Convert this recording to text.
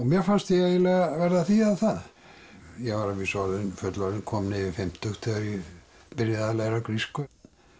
mér fannst ég eiginlega verða að þýða það ég var að vísu orðinn fullorðinn kominn yfir fimmtugt þegar ég byrjaði að læra grísku